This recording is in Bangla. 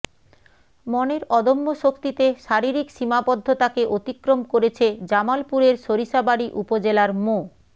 মনের অদম্য শক্তিতে শারীরিক সীমাবদ্ধতাকে অতিক্রম করেছে জামালপুরের সরিষাবাড়ী উপজেলার মো